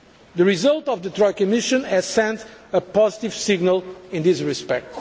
The result of the Troika mission has sent a positive signal in this respect.